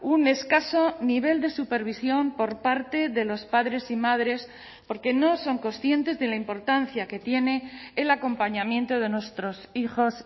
un escaso nivel de supervisión por parte de los padres y madres porque no son conscientes de la importancia que tiene el acompañamiento de nuestros hijos